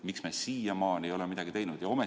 Miks me siiamaani ei ole midagi teinud?